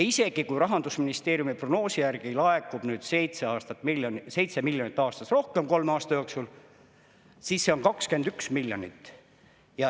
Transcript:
Isegi kui Rahandusministeeriumi prognoosi järgi laekub nüüd 7 miljonit aastas rohkem kolme aasta jooksul, siis see on 21 miljonit.